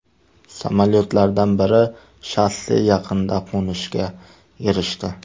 Samolyotlardan biri shosse yaqinida qo‘nishga erishdi.